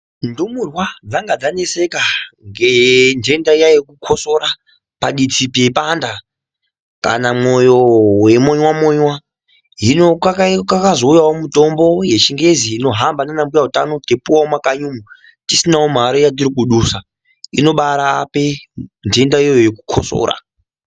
Ndumurwa dzanga dzaneseka nendenda iya yekukosora paditi peipanda kana moyo weimonwa monwa hino pakazouyawo mutombo wechingezi unohamba nana mbuya utano teipuwa mumakanyi umu tisinawo mari yatiri kudusa inobarapa ndenda iyo yekukosora.